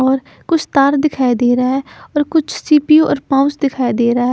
और कुछ तार दिखाई देरा है और कुछ सी_पि_यु और माउस दिखाई देरा है।